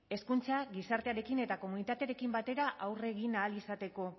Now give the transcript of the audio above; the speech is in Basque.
hezkuntza gizartearekin eta komunitateekin batera aurre egin ahal izateko